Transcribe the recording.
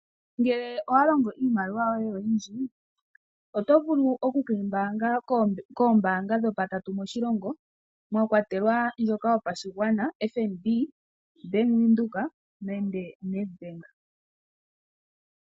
Ngele owa longo iimaliwa yoye oyindji oto vulu oku ke yi mbaanga koombaanga dhopatatu moshilongo mwa kwatelwa ndjoka yopashigwana, ano FNB, Bank Windhoek nenge Nedbank.